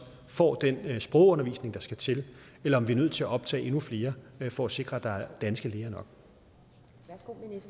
får den sprogundervisning der skal til eller om vi er nødt til at optage endnu flere for at sikre at der er danske læger